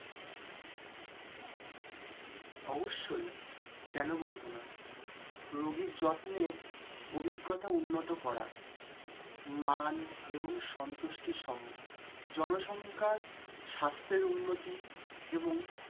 অবশ্যই রোগীর যত্নের অভিজ্ঞতা উন্নত করা মান এবং সন্তুষ্টি সহ জনসংখ্যার স্বাস্থ্যের উন্নতি এবং